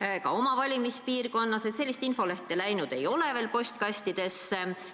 ka minu oma valimispiirkonnas – selline infoleht ei ole veel postkastidesse jõudnud.